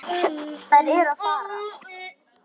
Þeir eru að fara.